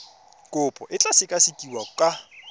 kopo e tla sekasekiwa ka